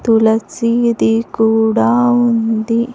తులసిది కూడా ఉంది.